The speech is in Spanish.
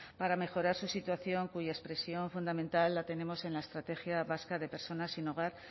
para mejorar su situación cuya expresión fundamental la tenemos en la estrategia vasca de personas sin hogar